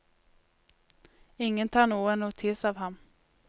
Ingen tar noe notis av ham.